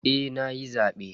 Eh nayi zabe.